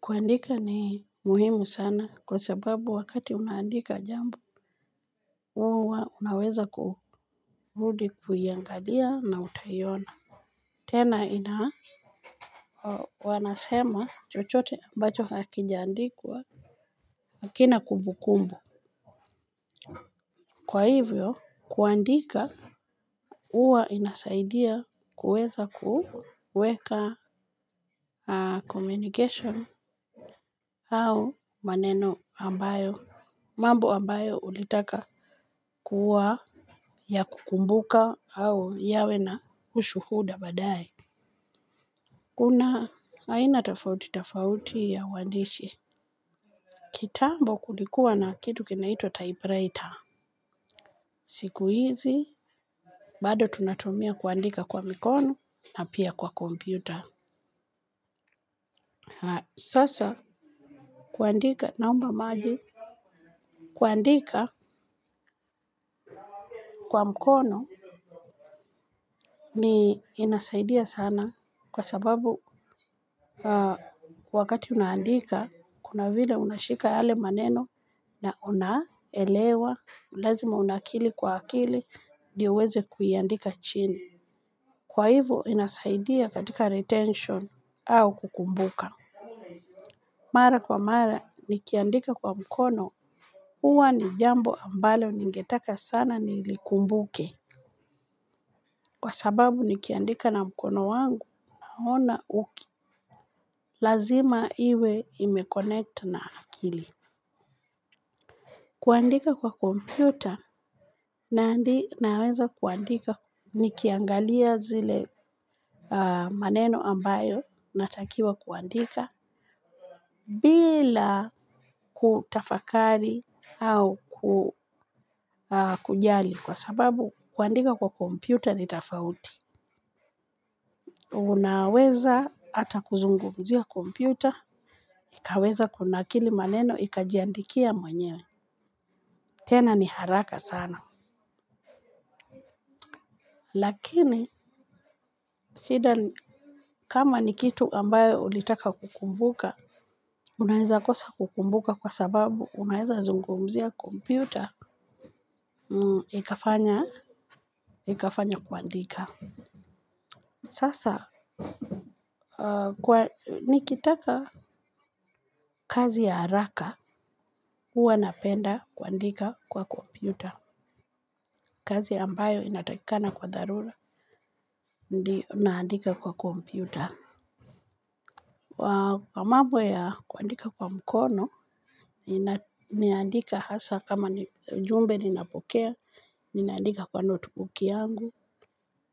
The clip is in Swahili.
Kuandika ni muhimu sana. Kwa sababu wakati unaandika jambo, huwa unaweza kurudi kuiangalia na utaiona. Tena, wanasema, chochote ambacho hakijandikwa, hakina kumbu kumbu. Kwa hivyo, kuandika, uwa inasaidia kuweza kuweka Communication, au maneno ambayo mambo ambayo ulitaka kuwa ya kukumbuka au yawe na ushuhuda badae. Kuna, aina tafauti tafauti ya uwandishi. Kitambo, kulikuwa na kitu kinaito typewriter. Siku hizi, bado tunatumia kuandika kwa mikono na pia kwa kompyuta. Sasa kuandika naomba maji. Kuandika, kwa mkono ni inasaidia sana. Kwa sababu wakati unaandika, kuna vila unashika yale maneno na unaelewa, lazima unakili kwa akili, dioiweze kuiandika chini. Kwa hivo, inasaidia katika retention au kukumbuka. Mara kwa mara, nikiandika kwa mkono, huwa ni jambo ambalo ningetaka sana nilikumbuke. Kwa sababu, nikiandika na mkono wangu, ona uki. Lazima iwe imekonnect na akili. Kuandika kwa kompyuta, naweza kuandika nikiangalia zile maneno ambayo natakiwa kuandika bila kutafakari au kujali kwa sababu kuandika kwa kompyuta ni tafauti. Unaweza ata kuzungumzia kompyuta, ikaweza kuna akili maneno, ikajandikia mwenyewe. Tena ni haraka sana. Lakini, kama ni kitu ambayo ulitaka kukumbuka, unaeza kosa kukumbuka kwa sababu, unaeza zungumzia kompyuta, ikafanya kuandika. Sasa, nikitaka kazi ya haraka, huwa napenda kuandika kwa kompyuta. Kazi ambayo inatakikana kwa dharura, ndi unaandika kwa komputer. Wa, kwa mambo ya kuandika kwa mkono, niandika hasa kama ni jumbe ni napokea, niandika kwa note book yangu,